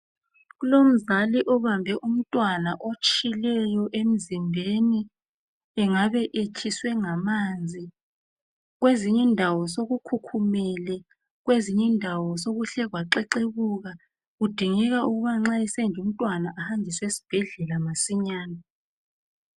Kulomzali obambe umntwana otshileyo emzimbeni engabe etshiswe ngamanzi kwezinye indawo sokukhukhumele kwezinye indawo sokuhle kwaxexebuka kudingeka ukuba nxa esenje umntwana ahanjiswe esibhedlela masinyane